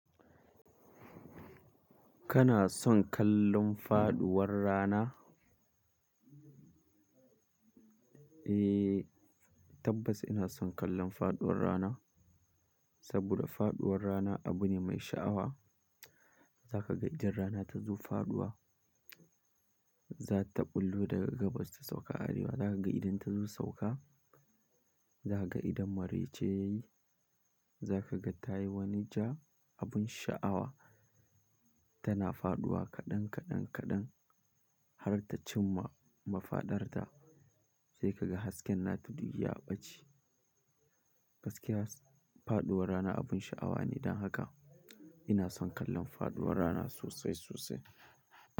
Kana son kallon faduwar rana? Eh, tabbas ina son kallon faduwar rana. Saboda faduwar rana abu ne mai sha'awa. Zaka ga idan rana tazo faduwa, za ta bullo daga gabas ta sauka arewa. Zaka ga idan ta zo sauka, zaka ga idan maraice yayi, zaka ga ta yi wani ja, abun sha'awa. Tana faduwa kaɗan, kaɗan, kaɗan har ta cimma mafaɗarta. Sai ka ga hasken ta duniya ya ɓace. Gaskiya faduwar rana abun sha'awa ne. Dan haka ina son kallon faduwar rana sosai, sosai.